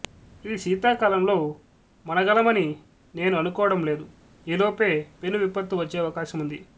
ఈ శీతాకాలంలో మనగలమని నేను అనుకోవడం లేదు ఈ లోపే పెను విపత్తు వచ్చే అవకాశం ఉంది